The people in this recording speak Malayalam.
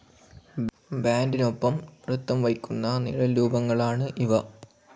ബാൻഡിനൊപ്പം നൃത്തം വയ്ക്കുന്ന നിഴൽരൂപങ്ങളാണ് ഇവ.